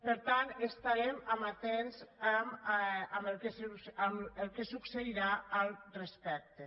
per tant estarem amatents amb el que succeirà al respecte